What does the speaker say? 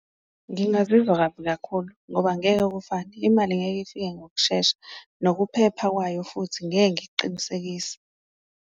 Ngingazizwa kabi kakhulu ngoba angeke kufane, imali ngeke ifike ngokushesha, nokuphepha kwayo futhi ngeke ngikuqinisekise.